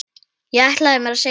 Ég ætlaði mér að sigra.